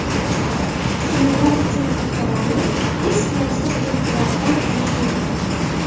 Kiyimlar uchun qopchalarni eski yostiq jildlaridan qilish mumkin.